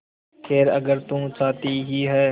खैर अगर तू चाहती ही है